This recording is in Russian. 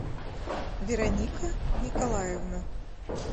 вероника николаевна